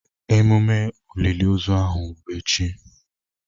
Emume oliliozu ahụ bụ echi.